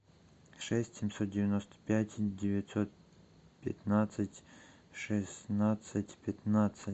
шесть семьсот девяносто пять девятьсот пятнадцать шестнадцать пятнадцать